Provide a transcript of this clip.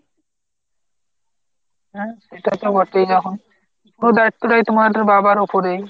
হ্যাঁ সেটা তো বটেই এখন পুরো দায়িত্বটাই এখন তো তোমার বাবার উপরেই।